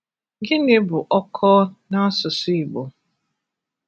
Gịnị bụ ọ́kọ́ na asụsụ Igbo?